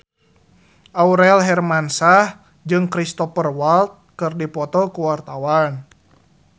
Aurel Hermansyah jeung Cristhoper Waltz keur dipoto ku wartawan